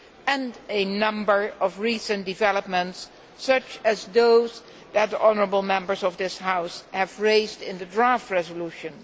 and a number of recent developments, such as those that the honourable Members of this House have raised in the draft resolution.